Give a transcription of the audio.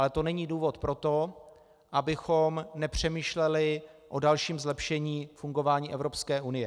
Ale to není důvod pro to, abychom nepřemýšleli o dalším zlepšení fungování Evropské unie.